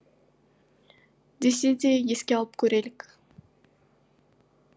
десе де еске алып көрелік